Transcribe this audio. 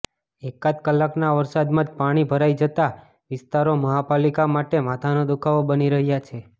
એકાદ કલાકના વરસાદમાં જ પાણી ભરાઇ જતા વિસ્તારો મહાપાલિકા માટે માથાનો દુખાવો બની રહ્યા છે